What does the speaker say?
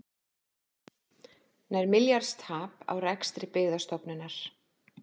Nærri milljarðs tap á rekstri Byggðastofnunar